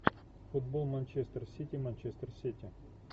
футбол манчестер сити манчестер сити